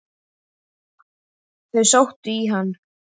Þau sóttu í hann.